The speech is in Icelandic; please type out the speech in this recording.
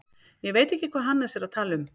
Ég veit ekki hvað Hannes er að tala um.